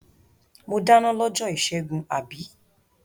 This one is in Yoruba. Mo dáná lọ́jọ́ ìṣẹ́gun, àbí?